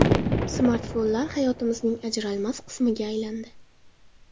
Smartfonlar hayotimizning ajralmas qismiga aylandi.